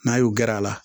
N'a y'u gɛrɛ a la